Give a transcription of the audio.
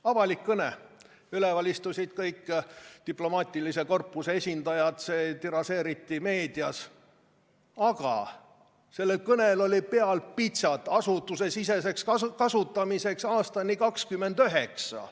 Avalik kõne, üleval istusid kõik diplomaatilise korpuse esindajad, see tiražeeriti meedias, aga sellel kõnel oli peal pitsat "Asutusesiseseks kasutamiseks aastani 2029".